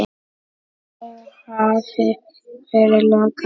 Þá hafi verið lokað.